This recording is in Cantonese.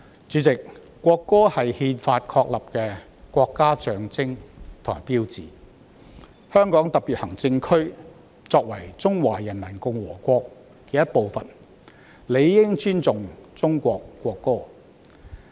主席，國歌是憲法確立的國家象徵和標誌，香港特別行政區作為中華人民共和國的一部分，理應尊重中國國歌。